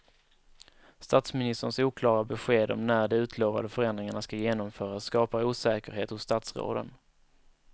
Statsministerns oklara besked om när de utlovade förändringarna ska genomföras skapar osäkerhet hos statsråden.